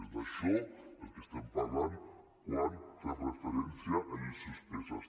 és d’això del que estem parlant quan fem referència a lleis suspeses